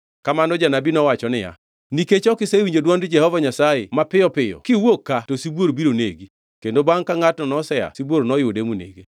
Kamano janabi nowacho niya, “Nikech ok isewinjo dwond Jehova Nyasaye, mapiyo piyo kiwuok ka, to sibuor biro negi.” Kendo bangʼ ka ngʼatno nosea, sibuor noyude monege.